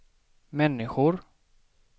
människor